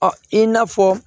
Ɔ i n'a fɔ